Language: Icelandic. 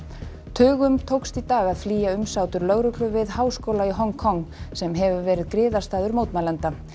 tugum tókst í dag að flýja umsátur lögreglu við háskóla í Hong Kong sem hefur verið griðastaður mótmælenda